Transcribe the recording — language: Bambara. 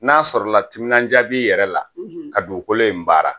N'a sɔrɔ la timinan duya bɛ i yɛrɛ la ka dugukolo in baara.